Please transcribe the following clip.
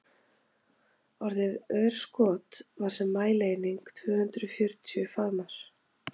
orðið örskot var sem mælieining tvö hundruð fjörutíu faðmar